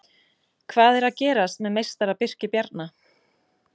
Hvað er að gerast með meistara Birki Bjarna?